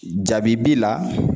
Jabibi la